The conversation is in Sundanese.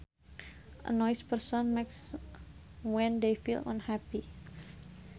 A noise a person makes when they feel unhappy